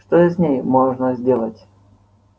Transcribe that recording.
что же с ней можно сделать